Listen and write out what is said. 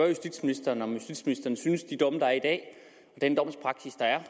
justitsministeren om justitsministeren synes at den domspraksis der er